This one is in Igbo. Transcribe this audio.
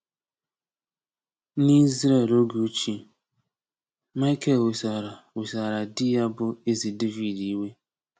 N’Izrel oge ochie, Michal wesara wesara di ya bụ Eze Devid iwe.